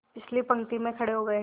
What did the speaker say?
पिछली पंक्ति में खड़े हो गए